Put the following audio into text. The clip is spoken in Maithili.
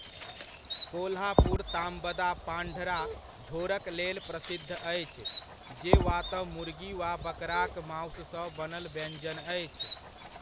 कोल्हापुर ताम्बदा पांढरा झोरक लेल प्रसिद्ध अछि जे वा तँ मुर्गी वा बकराक मासुसँ बनल व्यञ्जन अछि।